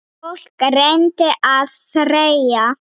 Fólk reyndi að þreyja.